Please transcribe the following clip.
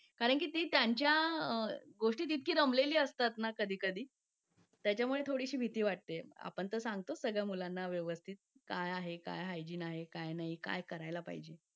या आह प्रादुर्भावपासून दूर ठेवायचं किंवा आपलं घर आपण स्वच्छ ठेवायचा किंवा आपण ज्या शाळेत जातो तिकडे तिकडे काय स्वच्छता पाळली जाते? ह्या मध्ये जर आपण थोडं इनिशिएटिव घेतलं. शाळेमध्ये या गोष्टी आहेतच बेसिक लेवलला पण अजूनही त्या चांगल्या प्रमाणात आणल्या तर आपल्याला पर्सेंट रिटर्न मिळू शकतो ना?